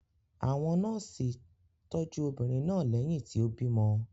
Àwọn nọ́ọ́sì tọ́jú obìnrin náà lẹ́yìn tí ó bímọ.